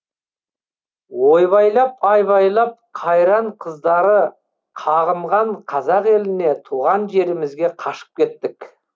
ойбайлап айбайлап қайран қыздары қағынған қазақ еліне туған жерімізге қашып кеттік